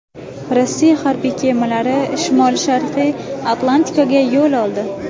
Rossiya harbiy kemalari Shimoli-sharqiy Atlantikaga yo‘l oldi.